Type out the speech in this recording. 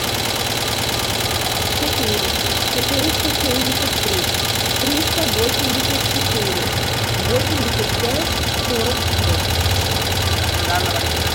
четыре четыреста семьдесят три триста восемьдесят четыре восемьдесят пять сорок шесть